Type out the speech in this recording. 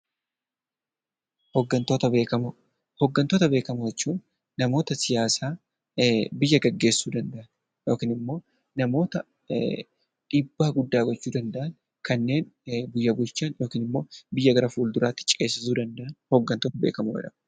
Hooggantoota beekamoo Hooggantoota beekamoo jechuun namoota siyaasaa biyya gaggeessuu danda'an yookiin immoo namoota dhiibbaa guddaa gochuu danda'an kanneen biyya bulchuu danda'an biyya gara fulduraatti ceesisuu danda'an hooggantoota beekamoo jedhamu.